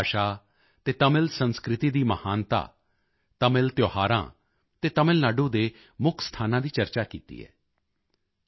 ਤੁਸੀਂ ਤਮਿਲ ਭਾਸ਼ਾ ਅਤੇ ਤਮਿਲ ਸੰਸਕ੍ਰਿਤੀ ਦੀ ਮਹਾਨਤਾ ਤਮਿਲ ਤਿਉਹਾਰਾਂ ਅਤੇ ਤਮਿਲ ਨਾਡੂ ਦੇ ਮੁੱਖ ਸਥਾਨਾਂ ਦੀ ਚਰਚਾ ਕੀਤੀ ਹੈ